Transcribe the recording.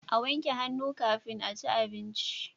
A wanke hannu kafin aci abinci